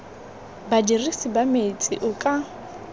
badirisi ba metsi o ka